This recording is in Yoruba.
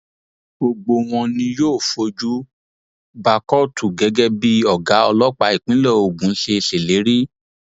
gbogbo wọn ni yóò fojú ba kóòtù gẹgẹ bí ọgá ọlọpàá ìpínlẹ ogun ṣe ṣèlérí